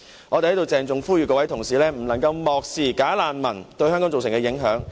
我們在這裏鄭重呼籲各位同事不能漠視"假難民"對香港造成的影響。